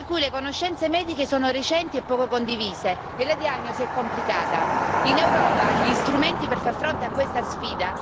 Penso, ad esempio, ai tumori rari dall'età pediatrica, per cui le conoscenze mediche sono recenti e poco condivise e la diagnosi è complicata.